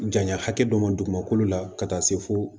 Janya hakɛ dɔ ma dugumakolo la ka taa se fo